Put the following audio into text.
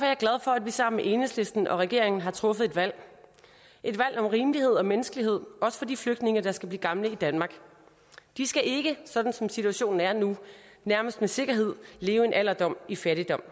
jeg glad for at vi sammen med enhedslisten og regeringen har truffet et valg et valg om rimelighed og menneskelighed også for de flygtninge der skal blive gamle i danmark de skal ikke sådan som situationen er nu nærmest med sikkerhed leve en alderdom i fattigdom